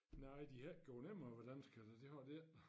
Nej de har ikke gjort nemmere for danskerne det har de ikke